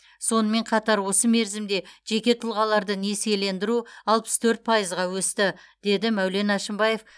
сонымен қатар осы мерзімде жеке тұлғаларды несиелендіру алпыс төрт пайызға өсті деді мәулен әшімбаев